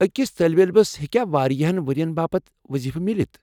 اکِس طٲلب علمس ہٮ۪کیاوارِیاہن ورین باپت وضیفہٕ میلِتھ ؟۔